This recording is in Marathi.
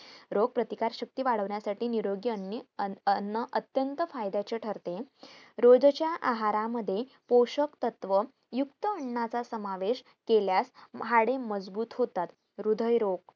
रोगप्रतिकार शक्ती वाढवण्यासाठी निरोगी अन्ने अं अन्न अत्यंत फायद्याचे ठरते रोजच्या आहारामध्ये पोषक तत्व युक्त अन्नाचा समावेश केल्यास हाडे मजबूत होता हृदयरोग